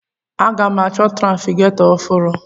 Aga m achọ trafigetọ ọhụrụ?